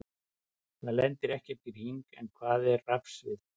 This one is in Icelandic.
Þar lendir ekkert í hring, en hvað er rafsvið?